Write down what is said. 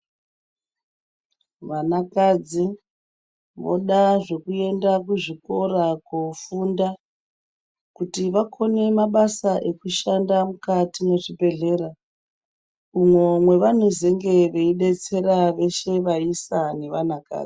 Vanakadzi voda zvekuenda kuzvikora koofunda kuti vakone mabasa ekushanda mukati mwezvibhehlera. Umwo mwavanezenga veidetsera veshe vaisa nevanakadzi.